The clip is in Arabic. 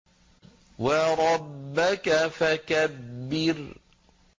وَرَبَّكَ فَكَبِّرْ